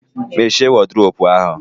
Mmeche wọdiropu ahu